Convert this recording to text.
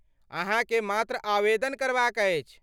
अहाँके मात्र आवेदन करबाक अछि।